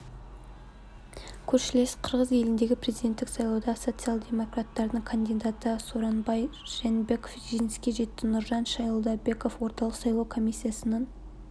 көршілес қырғыз еліндегі президенттік сайлауда социал-демократтардың кандидаты сооронбай жээнбеков жеңіске жетті нуржан шайлдабекова орталық сайлау комиссиясының